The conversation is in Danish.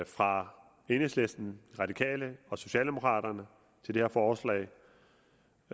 fra enhedslisten de radikale og socialdemokraterne til det her forslag